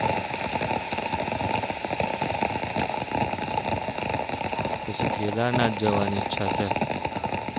પછી કેદારનાથ જવાનું છે હવે